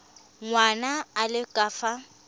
ngwana a le ka fa